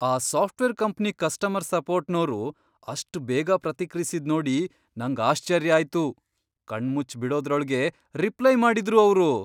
ಆ software company customer ಸಪೋರ್ಟ್ನೋರು ಅಷ್ಟ್ ಬೇಗ ಪ್ರತಿಕ್ರಿಯ್ಸಿದ್ ನೋಡಿ ನಂಗ್ ಆಶ್ಚರ್ಯ ಆಯ್ತು. ಕಣ್ಮುಚ್ಚ್ ಬಿಡೋದ್ರೊಳ್ಗೇ ರಿಪ್ಲೈ ಮಾಡಿದ್ರು ಅವ್ರು!